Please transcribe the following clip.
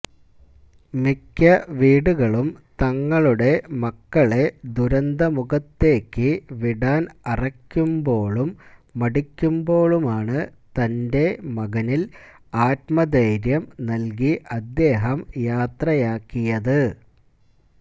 മിക്ക വീടുകളും തങ്ങളുടെ മക്കളെ ദുരന്തമുഖത്തേയ്ക്കു വിടാന് അറയ്ക്കുമ്പോഴും മടിക്കുമ്പോഴുമാണ് തന്റെ മകനില് ആത്മധൈര്യം നല്കി അദ്ദേഹം യാത്രയാക്കിയത്